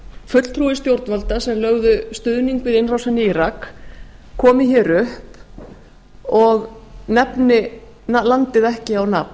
fulltrúi stjórnvalda sem lögðu stuðning við innrásina í írak komi hér upp og nefni landið ekki á nafn